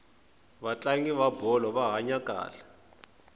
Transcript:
vatlangi va bolo va hanya kahle